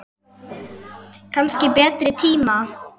Kannski betri tíma.